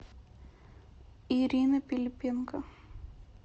ирина пилипенко